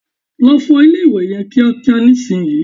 Lọ fọ ilé-ìwẹ̀ yẹn kíákíá nísìnyí!